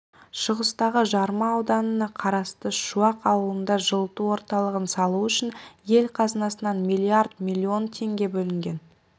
шығыстағы жарма ауданына қарасты шуақ ауылында жылыту орталығын салу үшін ел қазынасынан миллиард миллион теңге бөлінген